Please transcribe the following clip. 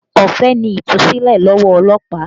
Ọ̀fẹ́ ni Ìtúsílẹ̀ lọ́wọ́ ọlọ́pàá